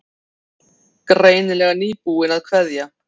Greinilega nýbúin að kveðja.